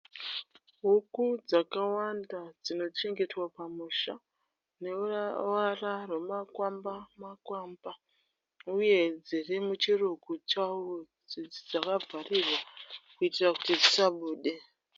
Huku dzakawanda dzino chengetwa pamusha neruvara rwemakwamba makwamba uye dziri muchirugu chadzakavharirwa kuitira kuti dzisabude.